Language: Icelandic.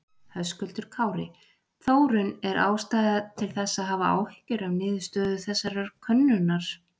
Höskuldur Kári: Þórunn er ástæða til þess að hafa áhyggjur af niðurstöðu þessarar könnunar?